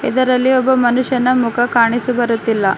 ಇದರಲ್ಲಿ ಒಬ್ಬ ಮನುಷ್ಯನ ಮುಖ ಕಾಣಿಸುಬರುತ್ತಿಲ್ಲ.